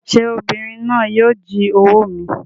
Sé obìnrin náà yíì o jí owó mi